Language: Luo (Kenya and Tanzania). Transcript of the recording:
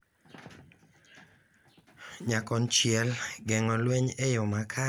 Nyakonchiel, geng’o lweny e yoo makare nyalo miyo winjruok obed motegno,